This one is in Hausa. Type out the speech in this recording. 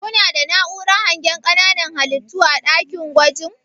kuna da na'uran hangen ƙananan halittu a ɗakin gwajin?